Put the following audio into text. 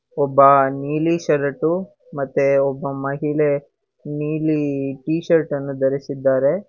ಒಬ್ಬ ನೀಲಿ ಶರ್ಟು ಮತ್ತೆ ಒಬ್ಬ ಮಹಿಳೆ ನೀಲಿ ಟೀ ಶರ್ಟ್ ಅನ್ನು ಧರಿಸಿದ್ದಾರೆ.